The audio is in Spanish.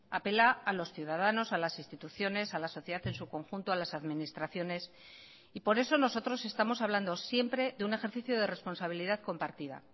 apela a los ciudadanos a las instituciones a la sociedad en su conjunto a las administraciones y por eso nosotros estamos hablando siempre de un ejercicio de responsabilidad compartida